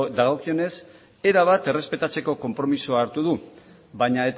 dagokionez erabat errespetatzeko konpromisoa hartu du baina